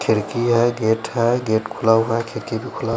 खिरकी है गेट है गेट खुला हुआ है खिरकी भी खुला--